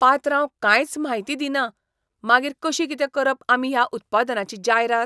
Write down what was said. पात्रांव कांयच म्हायती दिना, मागीर कशी कितें करप आमी ह्या उत्पादनाची जायरात?